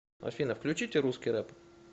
афина включите русский рэп